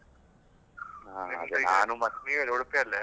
ಆ ಉಡುಪಿಯಲ್ಲೇ.